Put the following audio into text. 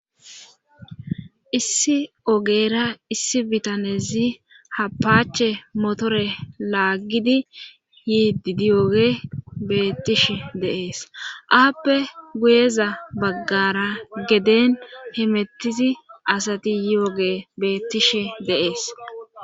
issi ogeera issi bitanezi apache motore laagidi yiiddiyooge beettishe deees aappe guyeza baggara geden hemettizi asati yooge beettishe de'ees